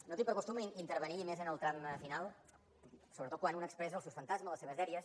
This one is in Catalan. no tinc per costum intervenir i més en el tram final sobretot quan un expressa els seus fantasmes les seves dèries